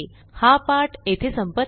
हा पाठ येथे संपत आहे